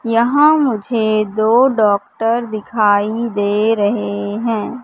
यहां मुझे दो डॉक्टर दिखाई दे रहे हैं।